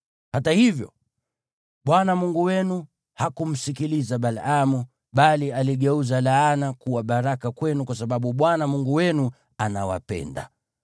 Hata hivyo, Bwana Mungu wenu hakumsikiliza Balaamu bali aligeuza laana kuwa baraka kwenu kwa sababu Bwana Mungu wenu anawapenda.